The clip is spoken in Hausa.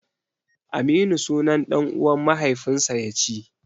Aminu sunan ɗan'uwan mahaifinsa ya ci.